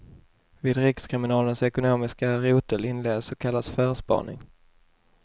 Vid rikskriminalens ekonomiska rotel inleddes så kallad förspaning.